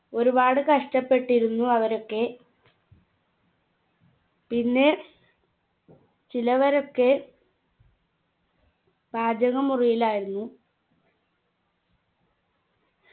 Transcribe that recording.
ഒരുപാട് കഷ്ടപ്പെട്ടിരുന്നു അവരൊക്കെ പിന്നെ ചിലവരൊക്കെ പാചക മുറിയിലായിരുന്നു